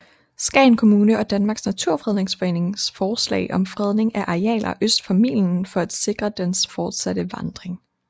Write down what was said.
Skagen Kommune og Danmarks Naturfredningsforening forslag om fredning af arealer øst for milen for at sikre dens fortsatte vandring